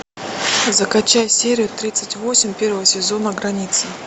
закачай серию тридцать восемь первого сезона граница